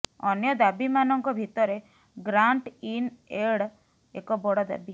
ଅନ୍ୟ ଦାବିମାନଙ୍କ ଭିତରେ ଗ୍ରାଣ୍ଟ ଇନ ଏଡ ଏକ ବଡ଼ ଦାବି